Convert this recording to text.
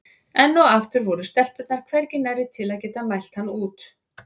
Enn og aftur voru stelpurnar hvergi nærri til að geta mælt hann út.